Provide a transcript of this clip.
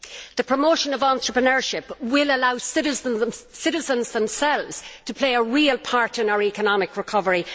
The promotion of entrepreneurship will allow citizens themselves to play a real part in our economic recovery.